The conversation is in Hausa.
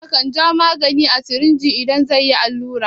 Likita kan ja magani a sirinji idan zai a yi allura.